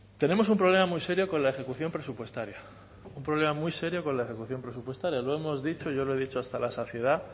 tenemos un problema muy serio con la ejecución presupuestaria un problema muy serio con la ejecución presupuestaria lo hemos dicho y yo lo he dicho hasta la saciedad